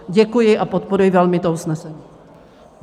Děkuji a podporuji velmi to usnesení.